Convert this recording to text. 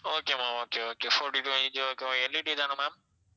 okay ma'am okay okay fourty-two inch okay வா LED தான ma'am